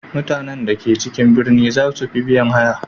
Mutanen da ke cikin birni za su fi biyan haya.